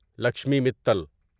Lakshmi Mittal